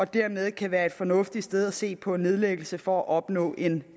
dermed kan være et fornuftigt sted at se på nedlæggelse for at opnå en